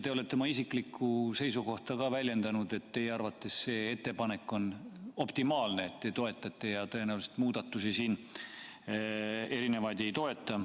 Te olete ka oma isiklikku seisukohta väljendanud, et teie arvates see ettepanek on optimaalne, et te seda toetate ja tõenäoliselt erinevaid muudatusi siin ei toeta.